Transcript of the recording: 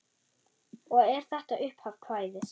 Og er þetta upphaf kvæðis: